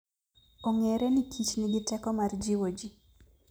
Ong'ere ni kich nigi teko mar jiwo ji.